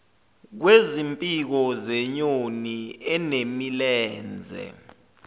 kwezimpiko zenyoni enemilenze